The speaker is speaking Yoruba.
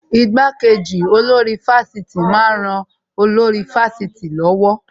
Ìgbàkeji olórí ifásitì máa ń ran olórí ifásitì lọ́wọ́